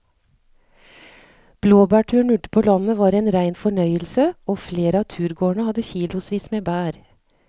Blåbærturen ute på landet var en rein fornøyelse og flere av turgåerene hadde kilosvis med bær.